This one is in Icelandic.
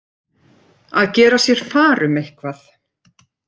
Að gera sér far um eitthvað